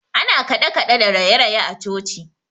Ana kaɗekaɗe da rayeraye a coci.